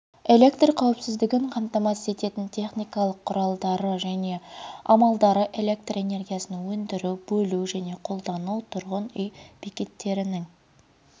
электр қауіпсіздігін қамтамасыз ететін техникалық құралдары және амалдары электроэнергиясын өндіру бөлу және қолдану тұрғын үй бекеттерінің